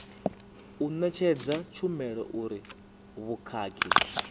u ṋetshedza tshumelo uri vhukhakhi